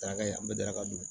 Daraka ye an bɛ daraka dun